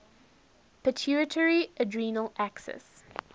pituitary adrenal axis